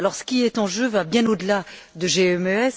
Ce qui est en jeu va bien au delà de GMES.